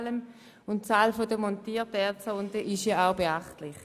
Die Anzahl der montierten Erdsonden ist denn auch beachtlich.